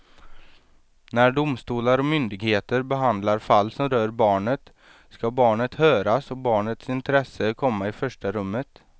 När domstolar och myndigheter behandlar fall som rör barnet ska barnet höras och barnets intresse komma i första rummet.